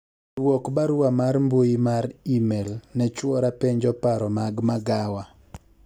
dwok barua mar mbui mar email ne chuora penjo paro mag magawa